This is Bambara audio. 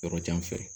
Yɔrɔ jan fɛ